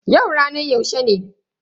Yau ranar yaushe ne?